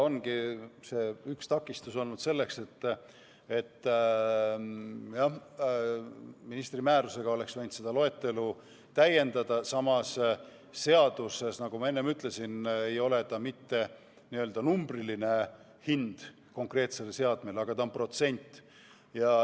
Seni on üks takistus olnud selles, et ministri määrusega oleks võinud seda loetelu täiendada, aga samas, nagu ma enne ütlesin, ei ole seaduses mitte n-ö numbriline hind konkreetsele seadmele, vaid on protsent.